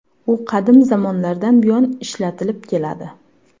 U qadim zamonlardan buyon ishlatilib keladi.